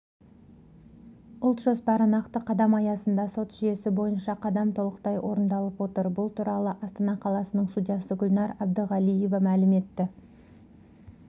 ұлт жоспары нақты қадам аясында сот жүйесі бойынша қадам толықтай орындалып отыр бұл туралы астана қаласының судьясы гүлнар әбдіғалиева мәлім етті